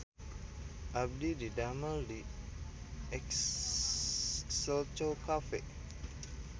Abdi didamel di Exelco Cafe